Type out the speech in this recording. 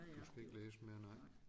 Du skal ikke læse mere nej